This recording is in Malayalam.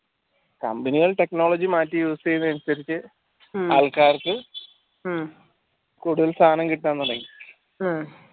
company കൾ technology മാറ്റി use ചെയ്യുന്നതിന് അനുസരിച്ച് ആൾക്കാർക്ക് കൂടുതൽ സാധനം കിട്ടാൻ തുടങ്ങി